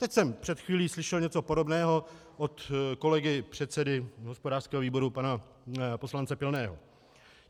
Teď jsem před chvílí slyšel něco podobného od kolegy předsedy hospodářského výboru pana poslance Pilného.